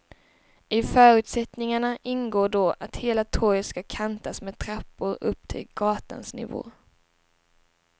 I förutsättningarna ingår då att hela torget ska kantas med trappor upp till gatans nivå.